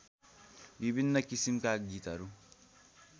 विभिन्न किसिमका गीतहरू